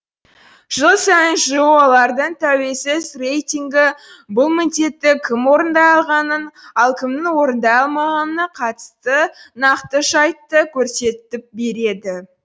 жыл сайын жоо лардың тәуелсіз рейтингі бұл міндетті кім орындай алғанын ал кімнің орындай алмағанына қатысты нақты жайтты көрсетіп береді